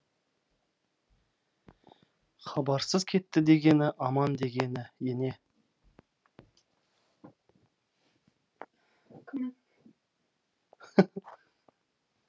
хабарсыз кетті дегені аман дегені ене